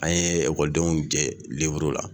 An ye ekɔlidenw jɛ la